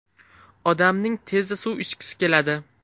Odamning tezda suv ichgisi keladi.